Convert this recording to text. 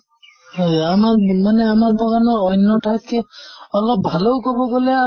হয় আমাক মানে আমাৰ বাগানৰ অন্য় ঠাইতকে অলপ ভালো কʼব গʼলে